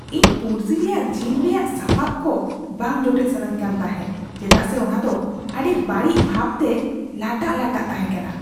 ᱤᱧ ᱯᱩᱲᱥᱤ ᱨᱮᱭᱟᱜ ᱡᱤᱢ ᱨᱮᱭᱟᱜ ᱥᱟᱯᱟᱯ ᱠᱚ ᱵᱟᱝ ᱡᱚᱴᱮᱫ ᱥᱟᱱᱟᱧ ᱠᱟᱱ ᱛᱟᱦᱮᱸᱜ ᱪᱮᱫᱟᱜ ᱥᱮ ᱚᱱᱟ ᱫᱚ ᱟᱹᱰᱤ ᱵᱟᱹᱲᱤᱡ ᱵᱷᱟᱵᱽᱛᱮ ᱞᱟᱴᱟᱜᱼᱞᱟᱴᱟᱜ ᱛᱟᱦᱮᱸᱠᱟᱱᱟ ᱾